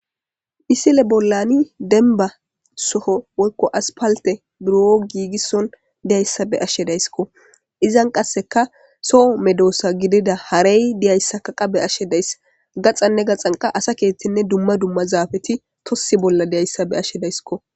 misile bollani denba soho wolko aspalte buro giigisson diyayssa be ashshe dayskko izan qasseka soho medoosa gidida harey diyayssa kaqa be ashe dayss gaxanne gaxanqa asa keethtenne dumma dumma zaabeti tossi bolla diyayssa be ashshe daysko